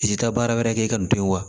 I ti taa baara wɛrɛ kɛ ka nin to yen wa